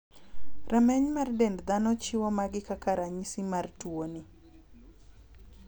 Rameny mar dend dhano chiwo magi kaka ranyisi mar tuo ni.